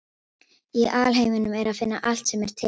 Í alheiminum er að finna allt sem er til.